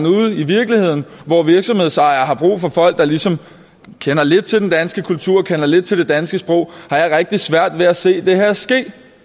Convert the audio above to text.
ude i virkeligheden hvor virksomhedsejere har brug for folk der ligesom kender lidt til den danske kultur og kender lidt til det danske sprog har jeg rigtig svært ved at se det her ske